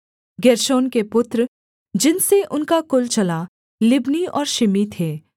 गेर्शोन के पुत्र जिनसे उनका कुल चला लिब्नी और शिमी थे